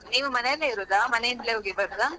ಹಾ ಹಾ ನೀವು ಮನೆಯಲ್ಲೇ ಇರುದ, ಮನೆಯಿಂದ್ಲೇ ಹೋಗಿ ಬರೋದ?